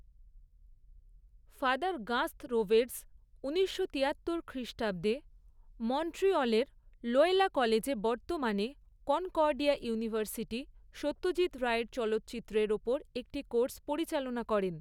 Father Gaston Roberge ঊনিশশো তিয়াত্তর খ্রিষ্টাব্দে মন্ট্রিয়লের লোয়লা কলেজে বর্তমানে কনকর্ডিয়া ইউনিভার্সিটি সত্যজিৎ রায়ের চলচ্চিত্রের ওপর একটি কোর্স পরিচালনা করেন।